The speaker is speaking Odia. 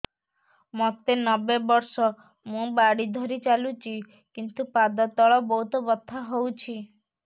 ମୋତେ ନବେ ବର୍ଷ ମୁ ବାଡ଼ି ଧରି ଚାଲୁଚି କିନ୍ତୁ ପାଦ ତଳ ବହୁତ ବଥା ହଉଛି